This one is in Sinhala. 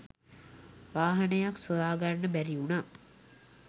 වාහනයක් සොයාගන්න බැරිවුණා.